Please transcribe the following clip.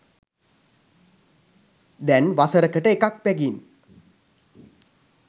දැන් වසරකට එකක් බැගින්